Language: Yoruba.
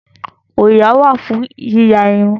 Òyà wà fún yíya irun